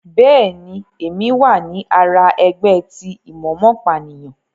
Bẹẹni, Èmí wá ní àrà ẹgbẹ ti imomopaniyan